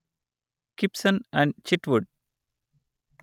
కిప్సన్ and Chitwood